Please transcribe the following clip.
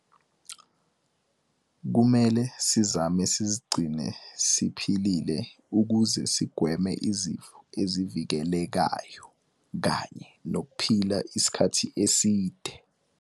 Kumele sizame sizigcine siphilile ukuze sigweme izifo ezivikelekayo kanye nokuphila isikhathi eside.